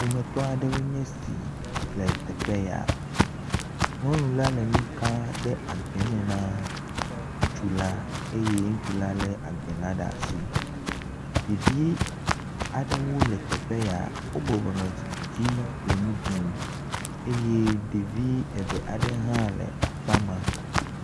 Ƒometɔ aɖewoe nye si le teƒe ya, Nyɔnu la le nu ka ɖe agbɛme na ŋutsula eye ŋutsula lé agbɛla ɖa si. Ɖevi aɖewo le teƒe ya, wo bɔbɔ nɔ zikpi dzi le nu ɖum eye ɖevi eve aɖe hã le akpa ma